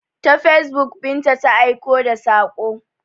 Ta facebook Binta ta aika da saƙo.